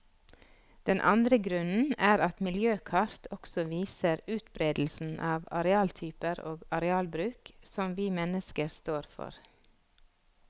Den andre grunnen er at miljøkart også viser utberedelsen av arealtyper og arealbruk som vi mennesker står for.